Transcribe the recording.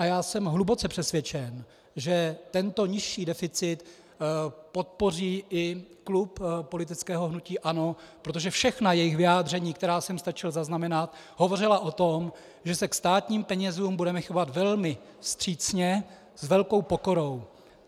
A já jsem hluboce přesvědčen, že tento nižší deficit podpoří i klub politického hnutí ANO, protože všechna jejich vyjádření, která jsem stačil zaznamenat, hovořila o tom, že se ke státním penězům budeme chovat velmi vstřícně, s velkou pokorou.